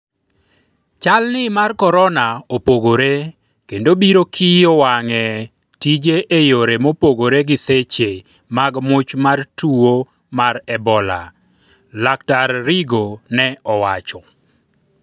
chal' ni mar korona opogore kendo biro kiyo wang'e tije e yore mopogore gi seche mag much mar tuo mar ebola, laktar Rigo ne owacho